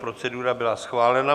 Procedura byla schválena.